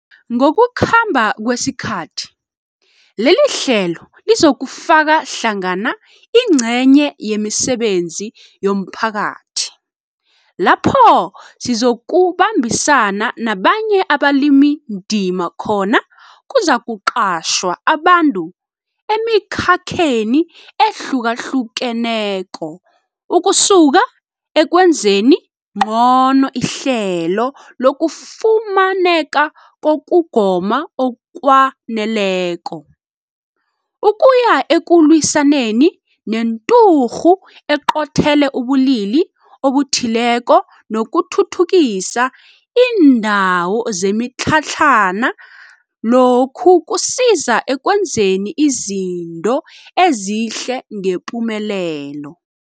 Ngokukhamba kwesikhathi, lelihlelo lizokufaka hlangana ingcenye yemisebenzi yomphakathi, lapho sizokubambisana nabanye abalimindima khona kuzakuqatjhwa abantu emikhakheni ehlukahlukeneko ukusuka ekwenzeni ngcono ihlelo lokufumaneka kokugoma okwaneleko, ukuya ekulwisaneni nenturhu eqothele ubulili obuthileko nokuthuthukisa iindawo zemitlhatlhana lokhu kusiza ekwenzeni izinto ezihle ngepumelelo.